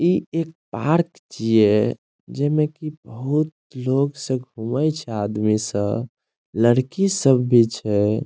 इ एक पार्क छीये जे मे की बहुत लोग सब घूमे छै लड़की सब भी छै।